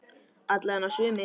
Alla vega sumir.